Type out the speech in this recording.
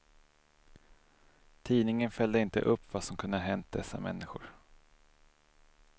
Tidningen följde inte upp vad som kunde ha hänt dessa människor.